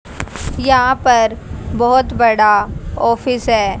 यहां पर बहोत बड़ा ऑफिस है।